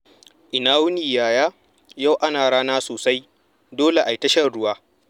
Ina wuni, Yaya? Yau ana rana sosai. Dole ayi ta shan ruwa.